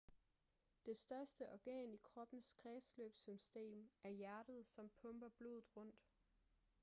det største organ i kroppens kredsløbssystem er hjertet som pumper blodet rundt